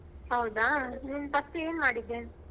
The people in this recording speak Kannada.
ಹೌದಾ, ನೀನ್ first ಏನ್ ಮಾಡಿದ್ದೆ.